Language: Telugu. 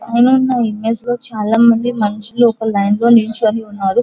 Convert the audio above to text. పైన ఉన్న ఇమేజ్ లో చాల మంది మనుషులు ఒక లైన్ లో నించొని ఉన్నారు.